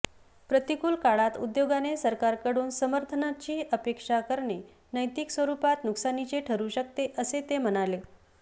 प्रतिकूल काळात उद्योगाने सरकारकडून समर्थनाची अपेक्षा करणे नैतिक स्वरुपात नुकसानीचे ठरू शकते असे ते म्हणाले